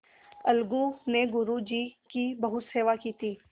अलगू ने गुरु जी की बहुत सेवा की थी